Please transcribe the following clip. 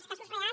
els casos reals